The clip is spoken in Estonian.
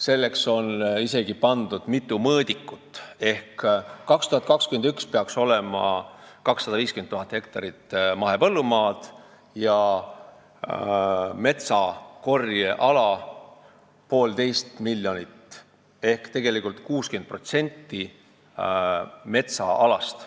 Selleks on isegi mitu mõõdikut kirja pandud: aastaks 2021 peaks olema 250 000 hektarit mahepõllumaad ja 1,5 miljonit metsakorjeala, mis teeb 60% metsaalast.